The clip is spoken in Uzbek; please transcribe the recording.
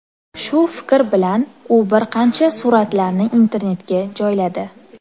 Shu fikr bilan u bir qancha suratlarni internetga joyladi.